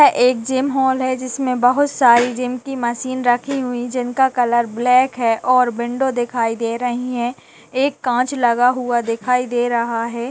एक gym hall है जिसमे बहुत सारी जिम की मशीन रखी हुई जिनका कलर ब्लैक है और विंडो दिखाई दे रही है| एक कांच लगा हुआ दखाई दे रहा है।